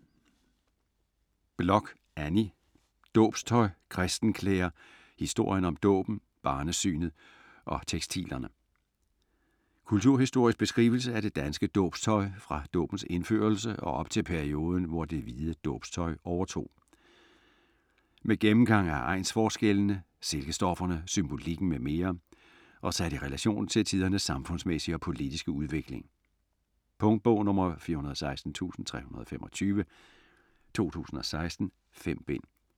Bloch, Anni: Dåbstøj, kristenklæder: historien om dåben, barnesynet og tekstilerne Kulturhistorisk beskrivelse af det danske dåbstøj fra dåbens indførelse og op til perioden, hvor det hvide dåbstøj overtog. Med gennemgang af egnsforskellene, silkestofferne, symbolikken m.m., og sat i relation til tidernes samfundsmæssige og politiske udvikling. Punktbog 416325 2016. 5 bind.